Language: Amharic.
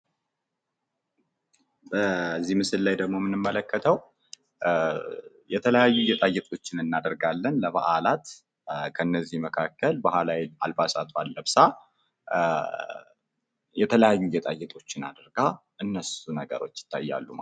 በዚህ ምስል ላይ ደግሞ የምንመለከተው አንድት ወጣት ሴት አጅግ የሚያምር የባህላዊ ልብስ ለብሳ የሚያሳይ ምስል ነው።